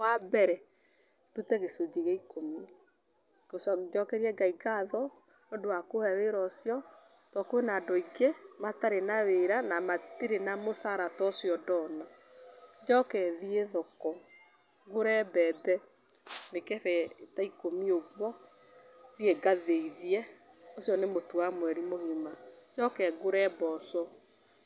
Wambere ndute gĩcunjĩ gĩa ikũmi njokerie Ngai ngatho nĩũndũ wa kũhe wĩra ũcio, tondũ kwĩna andũ aingĩ matarĩ na wĩra na matirĩ na mũcara ta ũcio ndona. Njoke thiĩ thoko ngũre mbembe mĩkebe ta ikũmi ũguo thiĩ ngathĩithie, ũcio nĩ mũtu wa mweri mũgima. Njoke ngũre mboco